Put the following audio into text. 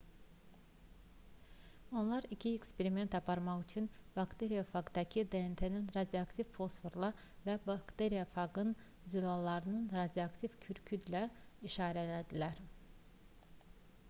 onlar iki eksperiment aparmaq üçün bakteriyofaqdakı dnt-ni radioaktiv fosforla və bakteriyofaqın zülallarını radioaktiv kükürdlə işarələdilər